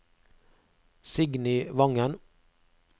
Signy Vangen